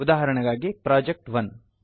ಉದಾಹರಣೆಗಾಗಿ ಪ್ರೊಜೆಕ್ಟ್ 1